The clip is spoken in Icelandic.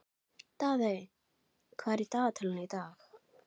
Daðey, hvað er í dagatalinu í dag?